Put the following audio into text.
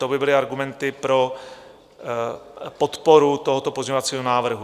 To by byly argumenty pro podporu tohoto pozměňovacího návrhu.